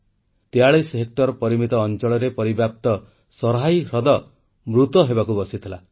43 hectare ପରିମିତ ଅଂଚଳରେ ପରିବ୍ୟାପ୍ତ ସରାହୀ ହ୍ରଦ ମୃତ ହେବାକୁ ବସିଥିଲା